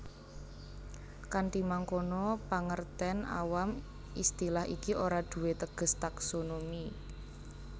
Kanthi mangkono pangertèn awam istilah iki ora duwé teges taksonomi